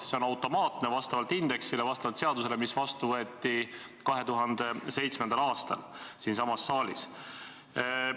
See on automaatne vastavalt indeksile, vastavalt seadusele, mis võeti 2007. aastal siinsamas saalis vastu.